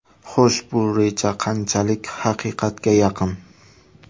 Xo‘sh, bu reja qanchalik haqiqatga yaqin?